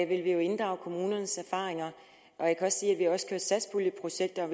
vil vi jo inddrage kommunernes erfaringer jeg kan sige at vi også kører satspuljeprojekter